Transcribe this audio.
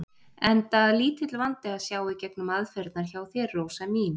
Enda lítill vandi að sjá í gegnum aðferðirnar hjá þér, Rósa mín.